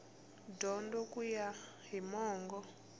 dyondzo ku ya hi mongo